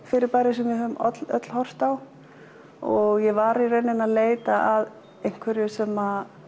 fyrirbæri sem við höfum öll horft á og ég var í rauninni að leita að einhverju sem